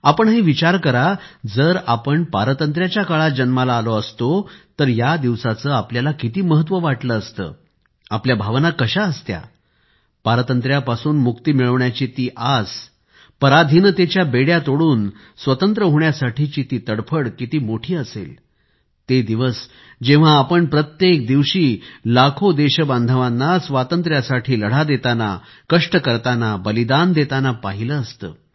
आपणही विचार करा जर आपण पारतंत्र्याच्या काळात जन्माला आलो असतो तर या दिवसाचं आपल्याला किती महत्त्व वाटलं असतं आपल्या भावना कशा असत्या पारतंत्र्यापासून मुक्ती मिळवण्याची ती आस पराधीनतेच्या बेड्या तोडून स्वतंत्र होण्यासाठीची ती तडफडकिती मोठी असेल ते दिवस जेव्हा आपण प्रत्येक दिवशी लाखो देशबांधवांना स्वातंत्र्यासाठी लढा देतांना कष्ट करतांना बलिदान देतांना पहिले असते